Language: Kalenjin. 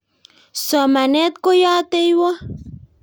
somanet ko yateywot